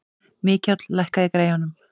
Mikjáll, lækkaðu í græjunum.